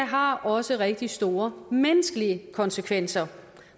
har også rigtig store menneskelige konsekvenser